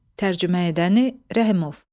Tərcümə edəni Rəhimov.